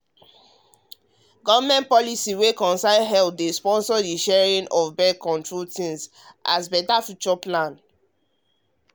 government policy wey concern healthdey sponsor the sharing of sharing of birth-control things as better future plans